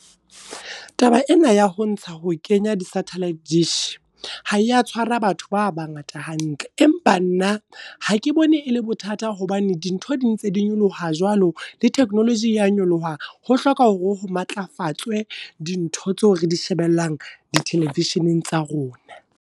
Taba ena ya ho ntsha ho kenya di satellite dish, ha eya tshwara batho ba bangata hantle. Empa nna hake bone e le bothata hobane dintho di ntse di nyoloha jwalo, le technology ya nyoloha. Ho hloka hore ho matlafatse dintho tseo re di shebellang di televisioneng tsa rona.